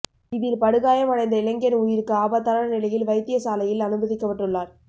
இதில் படுகாயம் அடைந்த இளைஞன் உயிருக்கு ஆபத்தான நிலையில் வைத்திய சாலையில் அனுமதிக்கபட்டுள்ளார்